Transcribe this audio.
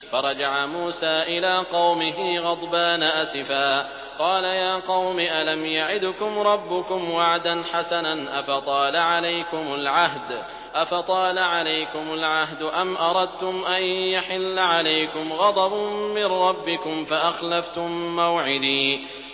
فَرَجَعَ مُوسَىٰ إِلَىٰ قَوْمِهِ غَضْبَانَ أَسِفًا ۚ قَالَ يَا قَوْمِ أَلَمْ يَعِدْكُمْ رَبُّكُمْ وَعْدًا حَسَنًا ۚ أَفَطَالَ عَلَيْكُمُ الْعَهْدُ أَمْ أَرَدتُّمْ أَن يَحِلَّ عَلَيْكُمْ غَضَبٌ مِّن رَّبِّكُمْ فَأَخْلَفْتُم مَّوْعِدِي